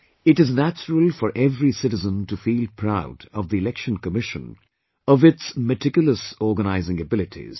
It is natural for every Citizen to feel proud of the Election Commission of its meticulous organising abilities